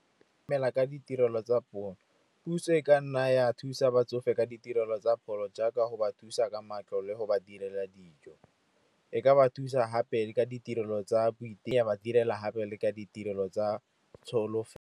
Ke dumela ka ditirelo tsa pholo, puso e ka nna ya thusa batsofe ka ditirelo tsa pholo jaaka go ba thusa ka matlo le go ba direla dijo. E ka ba thusa gape ka ditirelo tsa ya ba direla gape le ka ditirelo tsa tsholofelo.